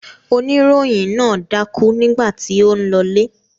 Oníròyìn náà dákú nígbà tí ó ń lọlé.